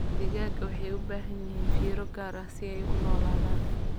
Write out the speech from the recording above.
Digaagga waxay u baahan yihiin fiiro gaar ah si ay u noolaadaan.